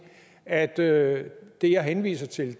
at det det jeg henviser til